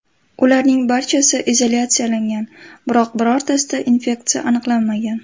Ularning barchasi izolyatsiyalangan, biroq birortasida infeksiya aniqlanmagan.